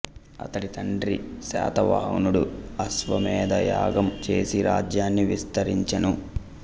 అతడి తండ్రి శాతవాహనుడు అశ్వమేధ యాగం చేసి రాజ్యాన్ని విస్తరించెను